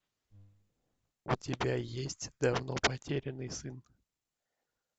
у тебя есть давно потерянный сын